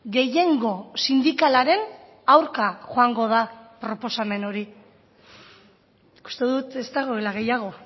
gehiengo sindikalaren aurka joango da proposamen hori uste dut ez dagoela gehiago